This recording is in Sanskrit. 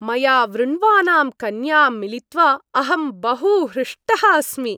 मया वृण्वानां कन्यां मिलित्वा अहं बहु हृष्टः अस्मि।